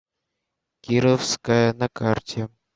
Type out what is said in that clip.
кировская на карте